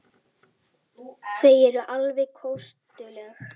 Þau eru alveg kostuleg.